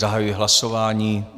Zahajuji hlasování.